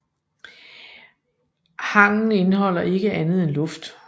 Hangen indeholder ikke andet end luft